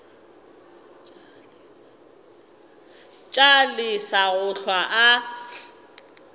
tla lesa go hlwa a